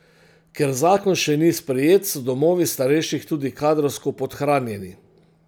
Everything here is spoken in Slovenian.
Ker zakon še ni sprejet, so domovi starejših tudi kadrovsko podhranjeni.